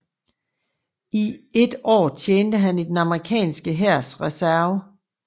I et år tjente han i den amerikanske hærs reserve